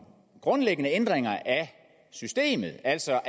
grundlæggende ændringer af systemet altså